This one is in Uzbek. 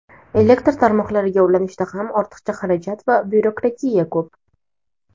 Elektr tarmoqlariga ulanishda ham ortiqcha xarajat va byurokratiya ko‘p.